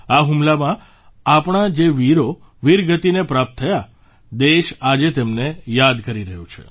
આ હુમલામાં આપણા જે વીરો વીરગતિને પ્રાપ્ત થયા દેશ આજે તેમને યાદ કરી રહ્યો છે